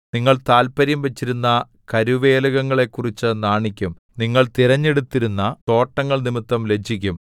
നിങ്ങൾ താത്പര്യം വച്ചിരുന്ന കരുവേലകങ്ങളെക്കുറിച്ചു നാണിക്കും നിങ്ങൾ തിരഞ്ഞെടുത്തിരുന്ന തോട്ടങ്ങൾനിമിത്തം ലജ്ജിക്കും